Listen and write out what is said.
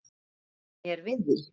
Hlífðu mér við því.